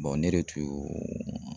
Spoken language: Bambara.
ne de tun